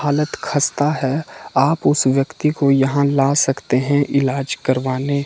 हालत खस्ता है आप उस व्यक्ति को यहां ला सकते हैं ईलाज करवाने।